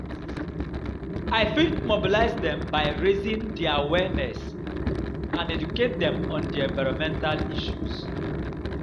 I fit mobilize dem by raising di awareness and educate dem on di environmental issues.